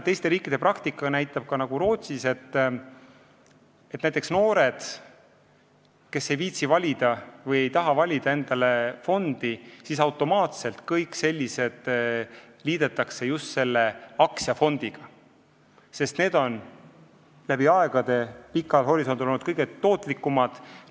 Teiste riikide praktika näitab, näiteks Rootsis, et need noored, kes ei viitsi või ei taha endale fondi valida, liidetakse automaatselt just aktsiafondidega, sest need on läbi aegade olnud pikal ajahorisondil kõige tootlikumad.